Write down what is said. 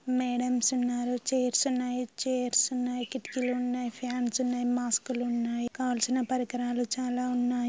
Madams ఉన్నారు. Chairs ఉన్నాయి. Chairs ఉన్నాయి. కిటికీలు ఉన్నాయి. ఫ్యాన్స్ ఉన్నాయి. మాస్కులున్నాయి . కావలసిన పరికరాలు చాలా ఉన్నాయి.